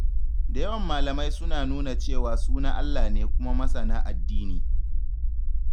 Da yawan malamai suna nuna cewa su na Allah ne kuma masana addini.